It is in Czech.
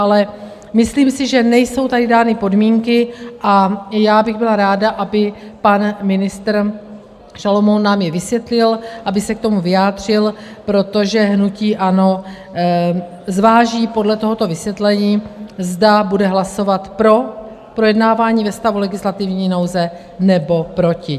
Ale myslím si, že nejsou tady dány podmínky, a já bych byla ráda, aby pan ministr Šalomoun nám je vysvětlil, aby se k tomu vyjádřil, protože hnutí ANO zváží podle tohoto vysvětlení, zda bude hlasovat pro projednávání ve stavu legislativní nouze, nebo proti.